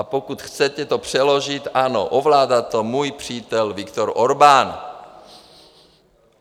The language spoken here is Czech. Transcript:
A pokud to chcete přeložit, ano, ovládá to můj přítel Viktor Orbán.